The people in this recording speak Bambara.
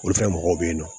Olu fɛn mɔgɔw bɛ yen nɔ